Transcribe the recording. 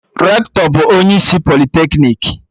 Rektọ bụ onye isi politeknik